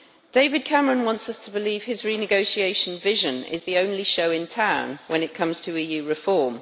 David Cameron wants us to believe his renegotiation vision is the only show in town when it comes to EU reform.